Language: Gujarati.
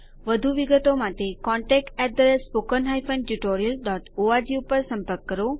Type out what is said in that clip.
વધુ વિગતો માટે contactspoken tutorialorg ઉપર સંપર્ક કરો